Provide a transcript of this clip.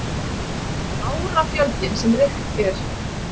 Árafjöldinn sem reykt er.